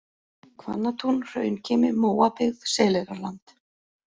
Hvannatún, Hraunkimi, Móabyggð, Seleyrarland